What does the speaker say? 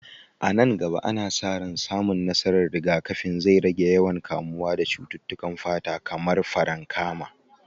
A nan gaba, ana sa ran samun nasarar rigakafin zai rage yawan kamuwa da cututtukan fata kamar farankama.